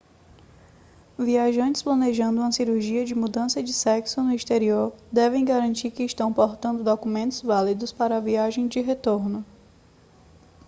viajantes planejando uma cirurgia de mudança de sexo no exterior devem garantir que estão portando documentos válidos para a viagem de retorno